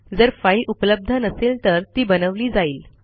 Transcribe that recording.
जर फाईल उपलब्ध नसेल तर ती बनवली जाईल